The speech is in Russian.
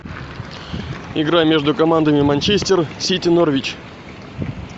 игра между командами манчестер сити норвич